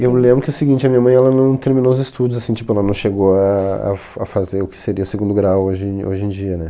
Eu lembro que o seguinte a minha mãe ela não terminou os estudos, assim tipo ela não chegou ah a f a fazer o que seria o segundo grau hoje em hoje em dia né